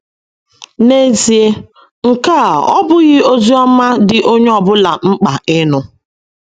N’ezie, nke a ọ́ bụghị ozi ọma dị onye ọ bụla mkpa ịnụ?